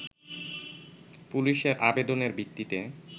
পুলিশের আবেদনের ভিত্তিতে